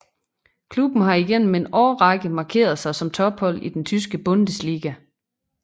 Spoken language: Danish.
Klubben har igennem en årrække markeret sig som tophold i den tyske Bundesliga